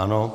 Ano.